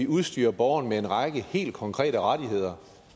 udstyrer borgerne med en række helt konkrete rettigheder